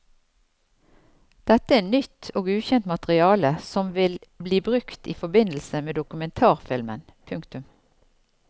Dette er nytt og ukjent materiale som vil bli brukt i forbindelse med dokumentarfilmen. punktum